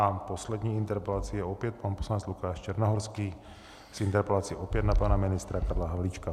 A poslední interpelací je opět pan poslanec Lukáš Černohorský s interpelací opět na pana ministra Karla Havlíčka.